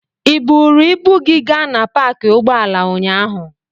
Ị buuru ibu gị gaa na paakị ụgbọala ụnyaahụ?